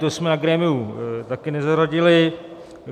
To jsme na grémiu také nezařadili.